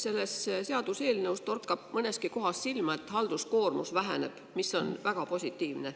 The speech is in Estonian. Selles seaduseelnõus torkab mõneski kohas silma, et halduskoormus väheneb, mis on väga positiivne.